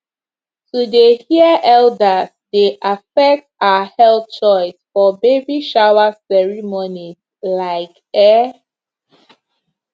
to dey hear elders dey affect our health choice for baby shower ceremonies like eh